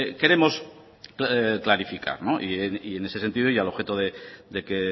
queremos clarificar en ese sentido y al objeto de que